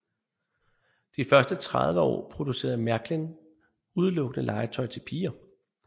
De første 30 år producerede Märklin udelukkende legetøj til piger